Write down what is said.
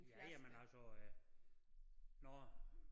Ja ja men altså øh når